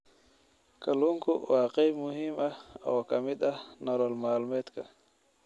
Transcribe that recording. Kalluunku waa qayb muhiim ah oo ka mid ah nolol maalmeedka.